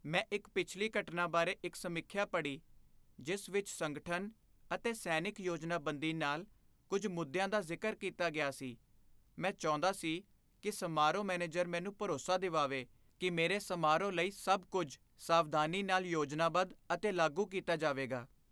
ਮੈਂ ਇੱਕ ਪਿਛਲੀ ਘਟਨਾ ਬਾਰੇ ਇੱਕ ਸਮੀਖਿਆ ਪੜ੍ਹੀ ਜਿਸ ਵਿੱਚ ਸੰਗਠਨ ਅਤੇ ਸੈਨਿਕ ਯੋਜਨਾਬੰਦੀ ਨਾਲ ਕੁੱਝ ਮੁੱਦਿਆਂ ਦਾ ਜ਼ਿਕਰ ਕੀਤਾ ਗਿਆ ਸੀ। ਮੈਂ ਚਾਹੁੰਦਾ ਸੀ ਕਿ ਸਮਾਰੋਹ ਮੈਨੇਜਰ ਮੈਨੂੰ ਭਰੋਸਾ ਦਿਵਾਵੇ ਕਿ ਮੇਰੇ ਸਮਾਰੋਹ ਲਈ ਸਭ ਕੁੱਝ ਸਾਵਧਾਨੀ ਨਾਲ ਯੋਜਨਾਬੱਧ ਅਤੇ ਲਾਗੂ ਕੀਤਾ ਜਾਵੇਗਾ।